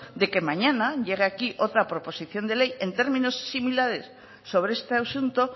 de que mañana llegue aquí otra proposición de ley en términos similares sobre este asunto